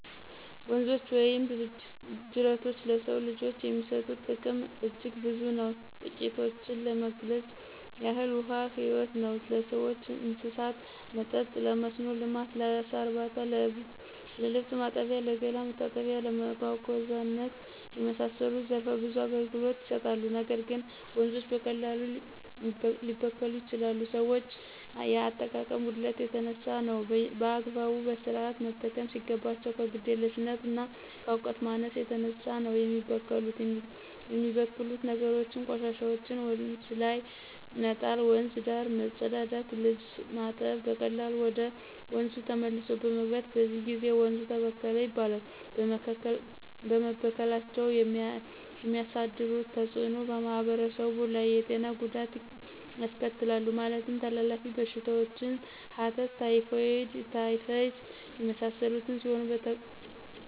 ወንዞች ወይም ጅረቶች ለሰው ልጆች የሚሰጡት ጥቅም አጅግ ብዙ ነው ትቂቶችን ለመግለጽ ያህል ውሀ ህይወት ነው ለሰዎችና ለእንስሳት መጠጥ :ለመስኖ ልማት: ለአሳ እርባታ :ለልብስ ማጠቢያ :ለገላ መታጠቢያና እና ለመጓጓዛነት የመሳሰሉት ዘረፈ ብዙ አገልግሎት ይሰጣሉ ነገር ግን ወንዞች በቀላሉ ሊበከሉ ይችላሉ ከሰዎች የአጠቃቀም ጉድለት የተነሳ ነው። በአግባቡ በስርአት መጠቀም ሲገባቸው ከግዴለሽነትና ከእውቀት ማነስ የተነሳ ነው የሚበከሉት የሚበክሉት ነገሮችም :ቆሻሻዎችን ወንዝ ላይ መጣል :ወንዝ ዳር መጸዳዳትና ልብስ ማጠብ በቀላሉ ወደ ወንዙ ተመልሶ በመግባት በዚህ ጊዜ ወንዙ ተበከለ ይባላል በመበከላቸው የሚያሳድሩት ተጽእኖ በማህበረሰቡ ላይ የጤና ጉዳት ያስከትላሉ ማለትም ተላላፊ በሽታዎችን ሐተት :ታይፎይድ :ታይፈስ የመሳሰሉት ሲሆኑ በተሎ ካልታከሙት ለሞት ሊዳርጉ ይችላሉ።